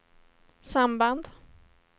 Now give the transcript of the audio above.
samband